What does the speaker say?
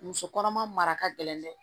Muso kɔnɔma mara ka gɛlɛn dɛ